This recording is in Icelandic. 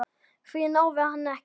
Því náði hann ekki.